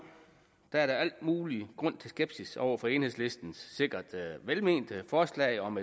er der al mulig grund til skepsis over for enhedslistens sikkert velmente forslag om